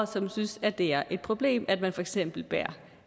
som synes at det er et problem at man for eksempel bærer